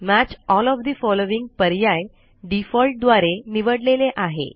match all of the following पर्याय default द्वारे निवडलेले आहे